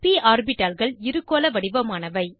ப் ஆர்பிட்டால்கள் இருகோள வடிவமானவை